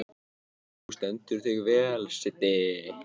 Þú stendur þig vel, Siddi!